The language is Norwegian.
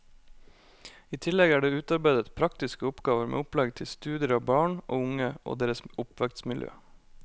I tillegg er det utarbeidet praktiske oppgaver med opplegg til studier av barn og unge og deres oppvekstmiljø.